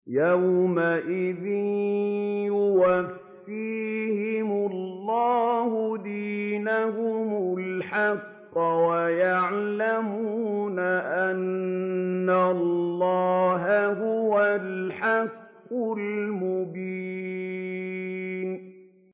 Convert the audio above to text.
يَوْمَئِذٍ يُوَفِّيهِمُ اللَّهُ دِينَهُمُ الْحَقَّ وَيَعْلَمُونَ أَنَّ اللَّهَ هُوَ الْحَقُّ الْمُبِينُ